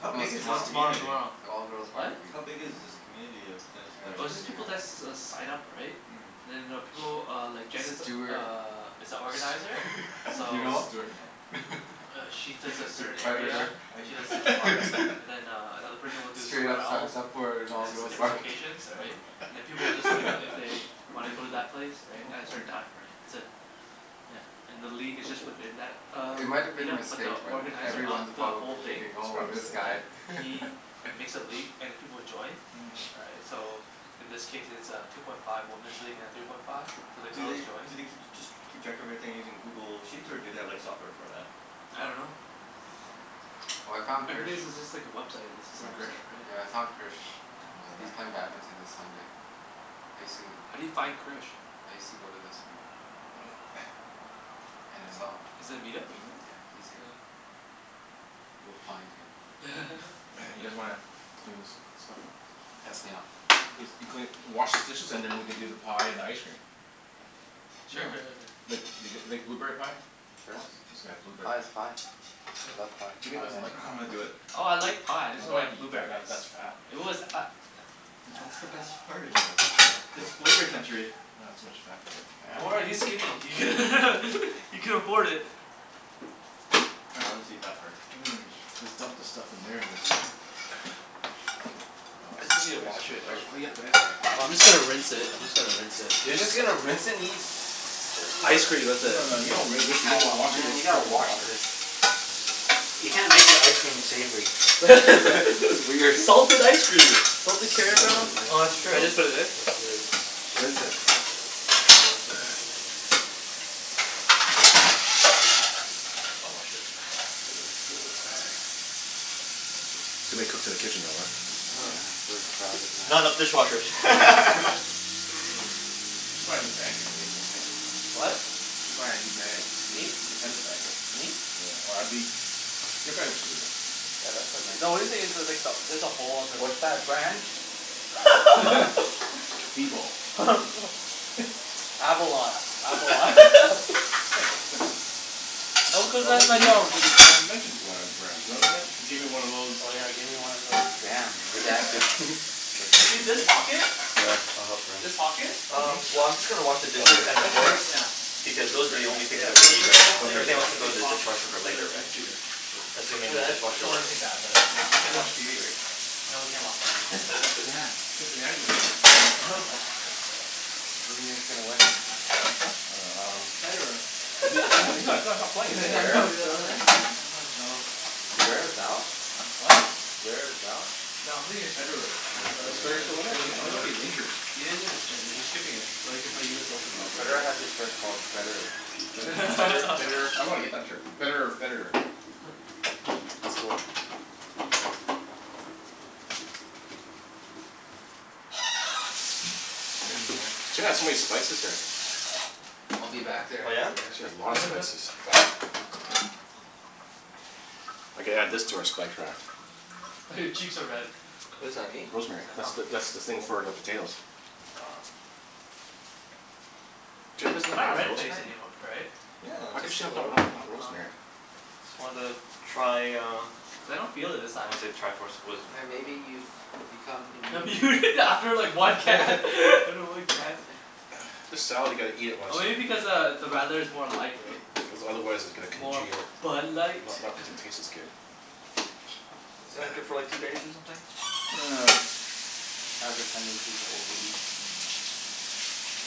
How don't No, big it's is this No, know. tomorrow. Me tomorrow community? tomorrow. It's an all girls What? barbecue. How big is this Mm. community of tennis Here, I'll players? Oh, show it's you just the people that guy. s- s- s- sign up, right? Mm. And then I know people uh, like Jen is Stewart Stew- uh, is a organizer. Stu- Do you So know Stuart? No. him? uh she does a A certain area. predator. Right? She does Mhm. Central Park. And then uh another person will do Straight somewhere up else. signs up for an And all it's girls different barbecue. locations, all right? uh-huh. And then people will just sign up if they wanna go to that place, right? Oh, As cool. her dime, right. That's it. Yeah. And the league is just within that uh, It might have been a meet-up but mistake, the but Yeah. organizer of everyone's It's the probably probably whole thing thinking, "Oh, a this Mhm. mistake. guy." right? He makes a league and then people will join Mhm. right? So in this case it's a two point five woman's league and a three point five. So the Do girls they, joy do they keep, just keep track of everything using Google Sheets, or do they have like software for that? I dunno. Oh. Oh, I found Krish. Everything's is just like a website. It's You just a find Krish? website, Yeah, I right? found Krish. He's Yeah. on He's there? playing badminton this Sunday. I sue How do you find Krish? I used to go to this one. And I saw him. Yeah. Is that a meet-up or something? Yeah, he's here. Oh. We'll find him. You guys wanna clean this stuff up? Let's clean up. If you clean, wash these dishes and then we can do the pie and ice cream. Yeah. Yeah. Sure sure sure sure. Like th- Yeah. g- like blueberry pie? Sure. It's got a blueberry Pie is pie. pie. I love pie. Jimmy Pie and doesn't like ice pie. I'm gonna cream. do it. Oh, I like pie. I No, just you don't don't have to like eat that. That blueberries. that's fat, It man. was a- i- But that's the best part. No, no that's It's real flavor gross. country. Aw, too much fat for me. Yeah, Don't worry, he's man. skinny. He can afford it. Ah I'll just eat that part. Mmm. Just dump the stuff in there and is Wow s- It's easy to wash thanks it thanks out. for cleaning up guys. Sorry. Oh, I'm just gonna rinse it. I'm just gonna rinse it. You're just gonna rinse and eat Ice cream with No it. no no, you don't ri- rinse it. You have to Oh wash it with man, you gotta soap and wash water. this. You can't make your ice cream savory. That's weird. Salted ice cream! Salted Salted caramel. ice No. Oh, that's cream. true. Can I just put it in? Let's do it. Rinse it. Can't rinse it. I'll wash it. Too many cooks in the kitchen though, uh? Yeah, uh-huh. we're crowded now. Not enough dishwashers. I should buy a new bag here Jimmy. Whaddya think? What? I should buy a new bag. Me t- Me? te- tennis bag. Me? Yeah, or abi- your bag looks pretty good. Yeah, that's a nice The only one. thing is there's like the, there's a hole on this What's that brand? B bowl. Abolat. Abolat. Oh, Oh cuz what then we they m- go but we we c- we mentioned bland brands really, right? Gimme one of those Oh yeah, give me one of those damn, redacted Do you see redacted. this pocket? Sure, I'll help rinse. This pocket? Mhm. Um, well I'm just gonna wash the dishes and the Has a forks rip now. because It's those are the ripped now? only things Yeah, that so we need this right whole now. Okay, thing is Everything else one can go sure. in big the pocket now, dishwasher for Mm. instead later, of right? just two. Sure. Cool. Assuming But the that that's dishwasher the only works. thing bad about it. We It can't didn't watch TV, right? No, we can't watch TV. Oh, damn. Damn. Cincinnati might be on. What the heck? Who do you think's gonna win? Huh? I dunno, um Federer. Is he is he he's not he's not playing, Is is he? I know Zverev he's not still in playing. there? I know. Stat Zverev's out? What? Zverev's out? No, I'm thinking of Federer. I'm Oh, I'm Is s- Federer Federer. I'm still in just there? He's, joking, I you thought know? he's injured? He is Yeah. in- injured. He's skipping it. So Oh, that he can play okay. US Open probably, Federer right? has a shirt called betterer. Bet- better betterer I wanna get that shirt. Betterer or Federer. That's cool. Sit in here. Jen has so many spices here. I'll be back there Oh in yeah? a bit. She has a lot of spices. I could add this to our spike rack. Oh, your cheeks are red. What is that? Me? Rosemary. Yeah. That's the, Oh. that's the thing Cool. for the potatoes. Oh. Jen doesn't I'm not have red-face rosemary? anym- right? Yeah. How could Just she a have not little ro- bit. not Oh, rosemary? okay. Just wanted to try uh Cuz I don't feel it this I time. wanna say the tri-force of wisdom Yeah, maybe but you've become That'd be immune? weird to after like one can after one can. This salad, you gotta eat it when Oh, it's maybe f- because uh, the radler is more light, right? Cuz otherwise it's gonna More congeal. Bud Light? Not not doesn't taste as good. Isn't it good for like two days or something? I have a tendency to overeat.